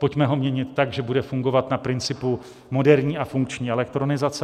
Pojďme ho měnit tak, že bude fungovat na principu moderní a funkční elektronizace.